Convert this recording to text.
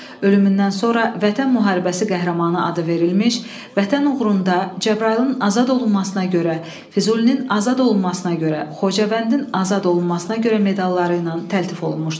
Ölümündən sonra Vətən müharibəsi qəhrəmanı adı verilmiş, Vətən uğrunda Cəbrayılın azad olunmasına görə, Füzulinin azad olunmasına görə, Xocavəndin azad olunmasına görə medalları ilə təltif olunmuşdur.